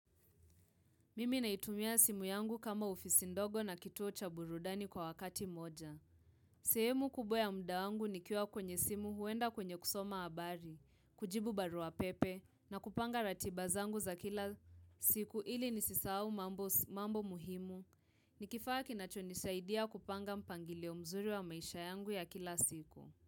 Mimi naitumia simu yangu kama ofisi ndogo na kituo cha burudani kwa wakati moja. Sehemu kubww ya muda wangu nikiwa kwenye simu huenda kwenye kusoma habari, kujibu barua pepe na kupanga ratiba zangu za kila siku ili nisisahau mambo muhimu. Ni kifaa kinachonisaidia kupanga mpangilio mzuri wa maisha yangu ya kila siku.